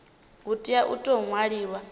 hu tea u tou ṅwaliwa